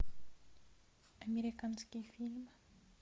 американский фильм